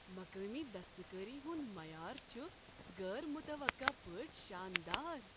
مقٲمی دستکٲری ہنٛد معیار چھ غیر متوقع پٲٹھۍ شاندار۔